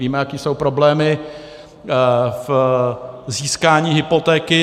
Víme, jaké jsou problémy v získání hypotéky.